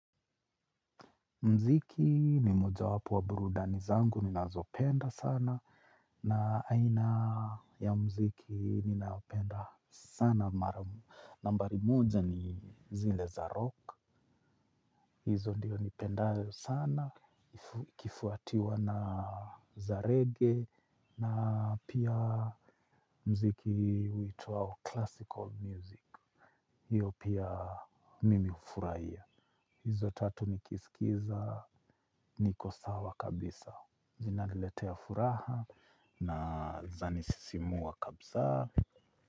Mziki ni mojawapo wa burudani zangu ninazopenda sana na aina ya mziki ni ninaopenda sana maramu. Nambari moja ni zile za rock. Hizo ndio nipendayo sana. Kifuatiwa na za reggae na pia mziki uitwao classical music. Hiyo pia mimi hufurahia. Hizo tatu nikisikiza niko sawa kabisa. Zinaliletea furaha na zanisisimua kabsa.